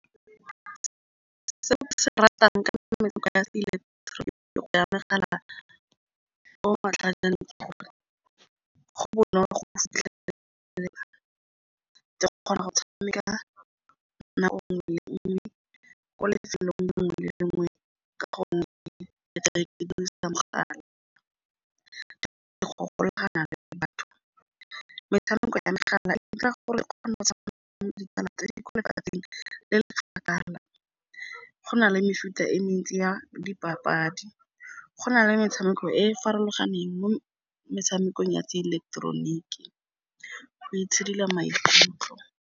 go na le mefuta e mentsi ya dipapadi, go na le metshameko e e farologaneng mo metshamekong ya tsa ileketeroniki, go itshidila maikutlo.